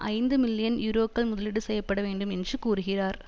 ஐந்து மில்லியன் யூரோக்கள் முதலீடு செய்ய பட வேண்டும் என்று கூறுகிறார்